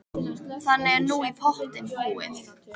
Þannig er nú í pottinn búið.